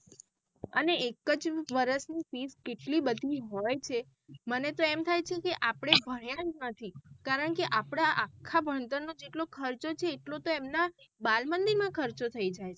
અને એકજ વરસ ની fee કેટલી બધી હોય છે મને તો એમ થાય છેકે આપડે ભણ્યા જ નથી કારણ કે આપડા આખા ભણતર નો જેટલો ખર્ચો છે એટલો તો એમના ભાળમંદિર માં ખર્ચો થઇ જાય છે.